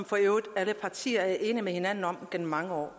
for øvrigt alle partier har været enige med hinanden om gennem mange år